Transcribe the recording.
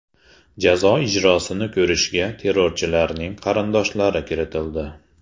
Jazo ijrosini ko‘rishga terrorchilarning qarindoshlari kiritildi.